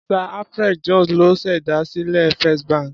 Sir Alfred Jones ló ṣèdásílẹ̀ Fist bank.